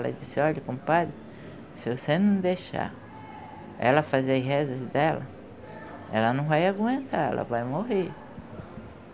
Ela disse, ''olha, compadre, se você não deixar ela fazer as rezas dela, ela não vai aguentar, ela vai morrer.''